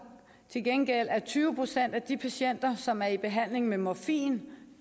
til gengæld at tyve procent af de patienter som er i behandling med morfin